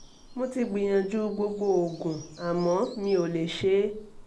mo ti gbìyànjú gbogbo oògùn àmọ́ mi ò lè ṣe é